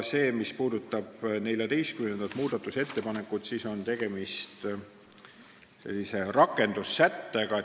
14. muudatusettepaneku puhul on tegemist n-ö rakendussätetega.